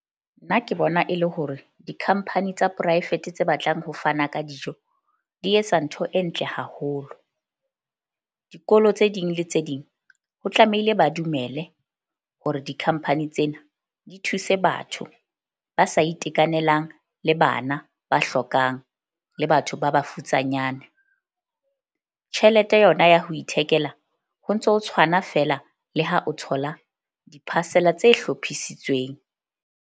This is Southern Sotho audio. Nna ke bona e le hore di-company tsa poraefete tse batlang ho fana ka dijo, di etsa ntho e ntle haholo. Dikolo tse ding le tse ding, ho tlamehile ba dumele hore di-company tsena di thuse batho ba sa itekanelang, le bana ba hlokang le batho ba bafutsanyane. Tjhelete yona ya ho ithekela ho ntso tshwana feela le ha o thola di-parcel-a tse hlophisitsweng.